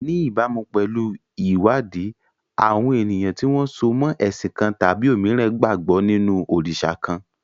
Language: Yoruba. Ní ìbámu pẹ̀lú ìwádìí, àwọn ènìyàn tí wọ́n so mọ́ ẹ̀sìn kan tàbí òmíràn gbàgbọ́ nínú òrìṣà kan.